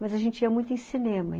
Mas a gente ia muito em cinema.